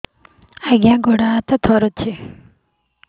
ଆଜ୍ଞା ଗୋଡ଼ ହାତ ଥରୁଛି